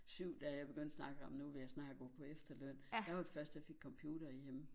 7 da jeg begyndte at snakke om nu vil jeg snart gå på efterløn der var de først jeg fik computer derhjemme